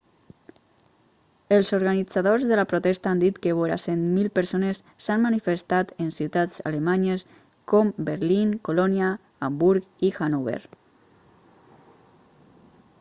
els organitzadors de la protesta han dit que vora 100.000 persones s'han manifestat en ciutats alemanyes com berlín colònia hamburg i hannover